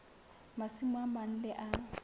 masimo a mang le a